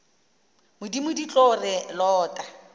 modimo di tlo re lota